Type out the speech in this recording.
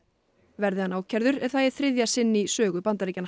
verði hann ákærður er það í þriðja sinn í sögu Bandaríkjanna